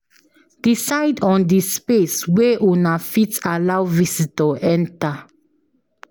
Decide on di space wey una fit allow visitior enter